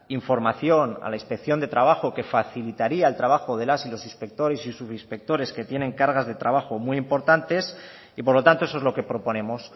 información a la inspección de trabajo que facilitaría el trabajo de las y los inspectores y subinspectores que tienen cargas de trabajo muy importantes y por lo tanto eso es lo que proponemos